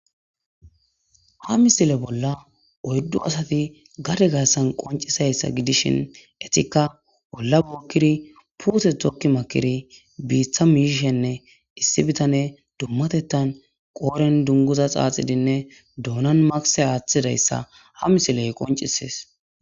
Ha misile bolla oyddu asati gade gaassan qoncisayssa gidishin etikka bolla bookkiri puuse tokki makiri biiththa miiishenne issi bitane dummatettan qooren dunguza xaaxidinne doonan makise aaththidayssa ha misiley qoncisees.